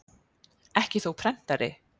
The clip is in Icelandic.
Ekki þó prentari?